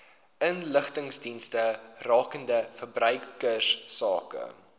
inligtingsdienste rakende verbruikersake